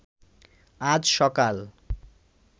আজ সকাল